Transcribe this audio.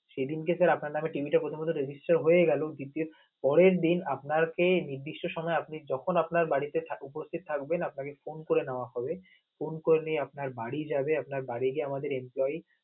সেদিন কে sir আপনের নামে TV টা কথা মত resgistre হয়ে গেল, পরের দিন আপনাকে নির্দিষ্ট সময় আপনি তখোন আপনার বাড়িতে উপস্থিত থাকবেন আপনাকে phone করে নেওয়া হবে, phone করে নিয়ে আপনার বাড়ি যাবে. আপনার বাড়ি গিয়ে আমাদের inquire